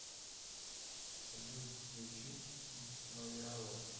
салют включить исмаяло